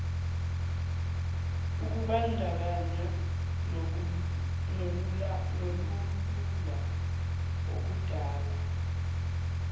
ukubandakanya nolulula okudala